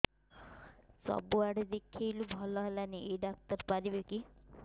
ସବୁଆଡେ ଦେଖେଇଲୁ ଭଲ ହେଲାନି ଏଇ ଡ଼ାକ୍ତର ପାରିବେ କି